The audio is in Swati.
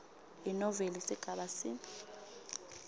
inoveli sigaba c